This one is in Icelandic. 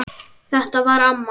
Þetta var amma.